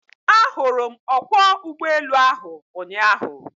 Ahụrụ m ọkwọ ụgbọelu ahụ ụnyaahụ.